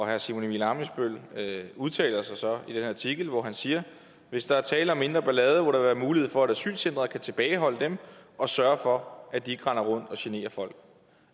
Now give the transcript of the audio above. herre simon emil ammitzbøll bille udtaler sig så i den her artikel hvor han siger hvis der er tale om mindre ballade må der være mulighed for at asylcentret kan tilbageholde dem og sørge for at de ikke render rundt og generer folk